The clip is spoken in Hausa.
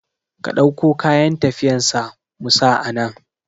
Ka ɗauko kayan tafiyan sa mu sa anan